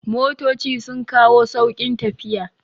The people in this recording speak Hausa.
Motoci sun kawo sauƙin tafiya